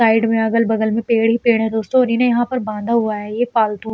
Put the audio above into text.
Side में अगल बगल में पेड़ ही पेड़ हैं दोस्तों और इन्हें यहाँ पर बाँधा हुआ है। ये पालतू --